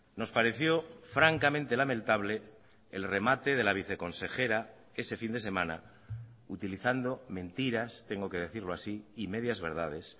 nos pareció francamente lamentable el remate de la vice consejera ese fin de semana utilizando mentiras tengo que decirlo así y medias verdades